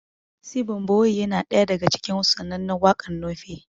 Sibon boyiye na ɗaya daga cikin sananne wakar Nufe